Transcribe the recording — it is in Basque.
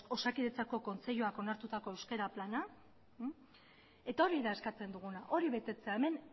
osakidetzako kontseiluak onartutako euskara plana eta hori da eskatzen duguna hori betetzea hemen